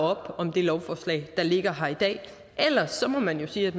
op om det lovforslag der ligger her i dag ellers må man jo sige at